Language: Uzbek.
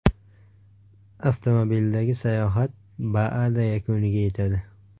Avtomobildagi sayohat BAAda yakuniga yetadi.